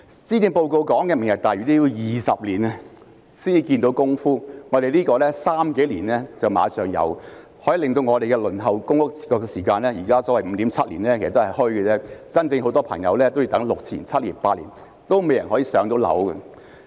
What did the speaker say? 施政報告提到的"明日大嶼"也要20年才可看到成果，但這個方案只需三數年便立即有成果，可以減少輪候公屋的時間，現在所謂的 5.7 年其實也是"虛"的，很多市民要等6年至8年仍未能"上樓"。